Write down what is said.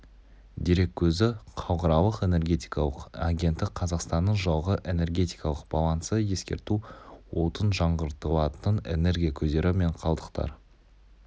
дерек көзі халықаралық энергетикалық агенттік қазақстанның жылғы энергетикалық балансы ескерту отын жаңғыртылатын энергия көздері мен қалдықтар